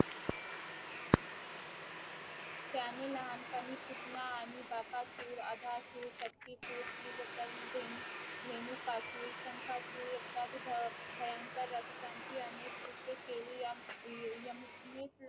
त्यांनी लहान पनी पुतना आणि बकासुर अधासुर शक्तीसूर धेनु धेनुकासुर शंकासुर इत्या भय भयंकर रक्षाची अनेक कृत्य केली याम यमुक ने